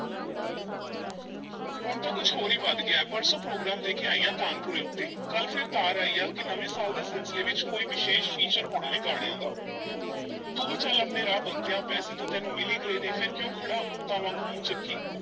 ਹੁਣ ਤਾਂ ਕੁਛ ਹੋਰ ਹੀ ਵਧ ਗਿਆ ਹੈ, ਪਰਸੋਂ program ਦੇ ਕੇ ਆਈ ਹਾਂ ਤਾਨਪੁਰੇ ਉੱਤੇ, ਕੱਲ੍ਹ ਫੇਰ ਤਾਰ ਆਈ ਆ ਕਿ ਨਵੇਂ ਸਾਲ ਦੇ ਸਿਲਸਿਲੇ ਵਿੱਚ ਕੋਈ ਵਿਸ਼ੇਸ਼ feature ਹੋਣਾ ਏ ਗਾਣਿਆਂ ਦਾ ਤੂੰ ਵੀ ਚੱਲ ਆਪਣੇ ਰਾਹ ਬੰਤਿਆ ਪੈਸੇ ਤਾਂ ਤੈਨੂੰ ਮਿਲ ਈ ਗਏ ਨੇ ਫੇਰ ਕਿਉਂ ਖੜ੍ਹਾ ਊਤਾਂ ਵਾਂਗੂ ਮੂੰਹ ਚੁੱਕੀ।